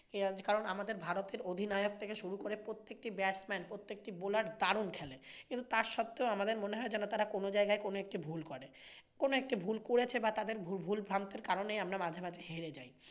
কারণ আমাদের ভারতের অধিনায়ক থেকে শুরু করে প্রত্যেকটি batsman প্রত্যেকটি bowler দারুন খেলে। কিন্তু তা সত্ত্বেও আমাদের মনে হয় যেন তারা কনজায়গায় কোনোএকটি ভুল করে। কোনোএকটি ভুল করেছে বা তাদের ভুলভ্রান্তির কারণে আমরা মাঝে মাঝে হেরে যাই।